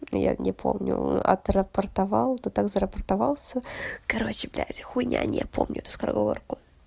я не помню отрапортовал ты так зарапортовался короче блять хуйня не помню эту скороговорку